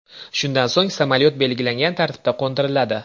Shundan so‘ng samolyot belgilangan tartibda qo‘ndiriladi.